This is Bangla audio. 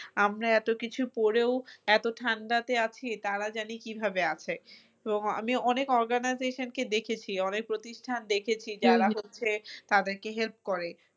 আমরা এত কিছু পোরেও এত ঠান্ডাতে আছি তারা জানি কিভাবে আছে তো আমিও অনেক organization কে দেখেছি অনেক প্রতিষ্ঠান দেখেছি যারা হচ্ছে তাদেরকে help করে